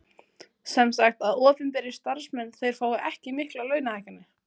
Sem sagt að opinberir starfsmenn þeir fá ekki miklar launahækkanir?